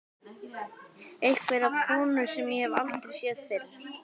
Einhverja konu sem ég hef aldrei séð fyrr.